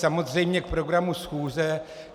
Samozřejmě k programu schůze.